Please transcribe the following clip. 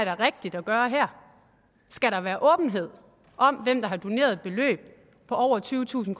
er rigtigt at gøre her skal være åbenhed om hvem der har doneret et beløb på over tyvetusind